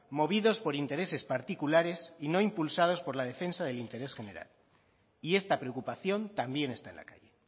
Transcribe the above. movidos por intereses particulares y no impulsados por la defensa del interés general y esta preocupación también está en la calle